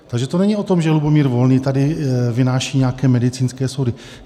Takže to není o tom, že Lubomír Volný tady vynáší nějaké medicínské soudy.